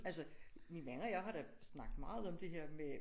Altså min mand og jeg har da snakket meget om det her med